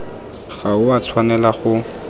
ga o a tshwanela go